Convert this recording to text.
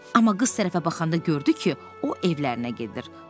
Amma qız tərəfə baxanda gördü ki, o evlərinə gedir.